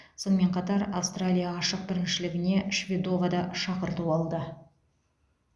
сонымен қатар аустралия ашық біріншілігіне шведова да шақырту алды